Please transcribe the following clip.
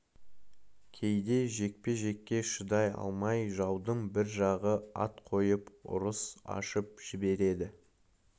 кейде жекпе-жекке шыдай алмай жаудың бір жағы ат қойып ұрыс ашып жібереді